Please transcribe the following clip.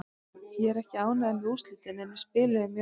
Ég er ekki ánægður með úrslitin en við spiluðum mjög vel.